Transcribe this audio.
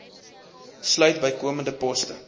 sluit bykomende poste